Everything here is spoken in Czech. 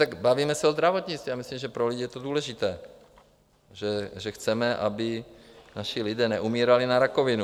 Tak bavíme se o zdravotnictví, já myslím, že pro lidi je to důležité, že chceme, aby naši lidi neumírali na rakovinu.